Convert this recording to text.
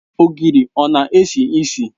Ogiri ọ na-esi isi?